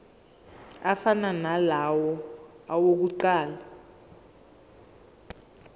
afana nalawo awokuqala